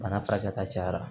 Bana furakɛta cayara